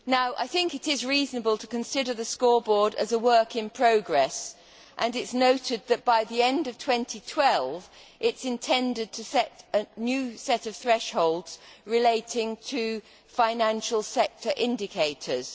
I think it is reasonable to consider the scoreboard as a work in progress', and it is noted that by the end of 2012 it is intended to set a new set of thresholds relating to financial sector indicators.